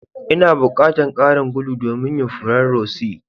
N'na bukatan karin gulu domin yin furen rose.